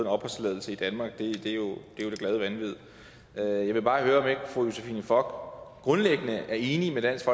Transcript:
opholdstilladelse i danmark det er jo det glade vanvid jeg vil bare høre om ikke fru josephine fock grundlæggende er enig med dansk